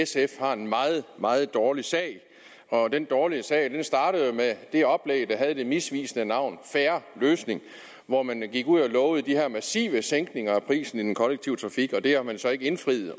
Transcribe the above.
sf har en meget meget dårlig sag og den dårlige sag startede jo med det oplæg der havde det misvisende navn fair løsning hvor man gik ud og lovede de her massive sænkninger af prisen i den kollektive trafik det har man så ikke indfriet